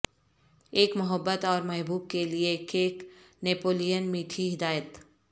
ایک محبت اور محبوب کے لئے کیک نپولین میٹھی ہدایت